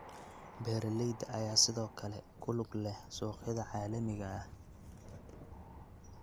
Beeralayda ayaa sidoo kale ku lug leh suuqyada caalamiga ah.